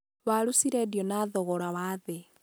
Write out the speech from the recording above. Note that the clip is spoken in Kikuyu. waru cireendio na thogora wa thĩĩ.